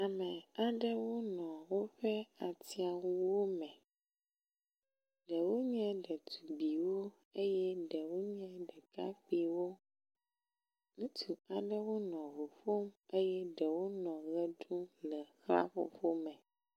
Ame aɖewo nɔ woƒe atĩawuwo me, ɖewo nye ɖetugbiwo, ɖewo nye ɖekakpiwo. Ŋutsu aɖewo nɔ ʋuƒom eye ɖewo nɔ ɣe ɖum le xlãƒoƒome.